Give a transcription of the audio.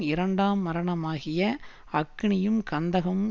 இரண்டாம் மரணமாகிய அக்கினியும் கந்தகமும்